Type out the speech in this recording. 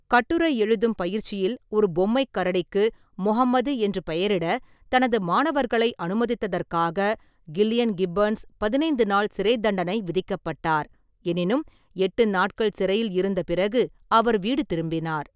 கட்டுரை எழுதும் பயிற்சியில் ஒரு பொம்மைக் கரடிக்கு "முஹம்மது" என்று பெயரிட தனது மாணவர்களை அனுமதித்ததற்காக கில்லியன் கிப்பன்ஸ் பதினைந்து நாள் சிறைத் தண்டனை விதிக்கப்பட்டார், எனினும் எட்டு நாட்கள் சிறையில் இருந்த பிறகு அவர் வீடு திரும்பினார்.